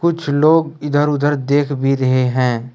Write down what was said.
कुछ लोग इधर उधर देख भी रहे हैं।